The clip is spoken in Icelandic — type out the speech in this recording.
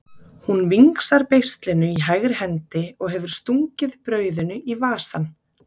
Hún vingsar beislinu í hægri hendi og hefur stungið brauðinu í vasann.